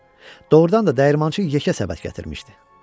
Doğrudan da dəyirmançı yekə səbət gətirmişdi.